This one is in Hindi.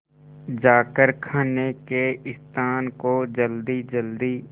जाकर खाने के स्थान को जल्दीजल्दी